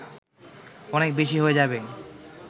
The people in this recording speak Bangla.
অনেক বেশি হয়ে যাবে